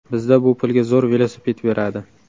Bizda bu pulga zo‘r velosiped beradi.